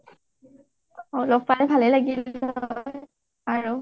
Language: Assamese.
অ অ লগ পালে ভালেই লাগিল আৰু